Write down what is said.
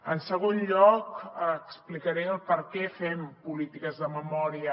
en segon lloc explicaré per què fem polítiques de memòria